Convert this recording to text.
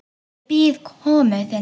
Ég bíð komu þinnar.